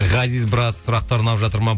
ғазиз брат сұрақтар ұнап жатыр ма